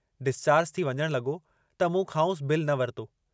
Discharge थी वञण लगो त मूं खांउसि बिलु न वरितो।